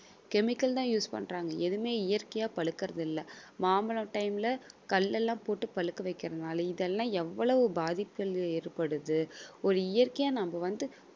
chemical தான் use பண்றாங்க எதுவுமே இயற்கையா பழுக்குறது இல்ல. மாம்பழம் time ல கல்லெல்லாம் போட்டு பழுக்க வைக்கிறதுனால இதெல்லாம் எவ்வளவு பாதிப்புகள் ஏற்படுது ஒரு இயற்கையா நம்ம வந்து